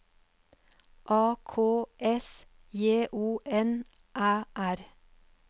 A K S J O N Æ R